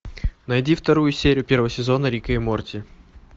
найди вторую серию первого сезона рика и морти